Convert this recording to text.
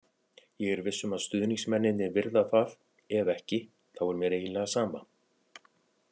Ég er viss um að stuðningsmennirnir virða það, ef ekki þá er mér eiginlega sama,